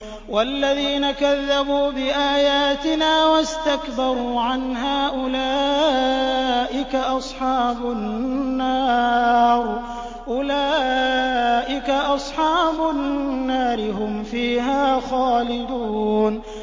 وَالَّذِينَ كَذَّبُوا بِآيَاتِنَا وَاسْتَكْبَرُوا عَنْهَا أُولَٰئِكَ أَصْحَابُ النَّارِ ۖ هُمْ فِيهَا خَالِدُونَ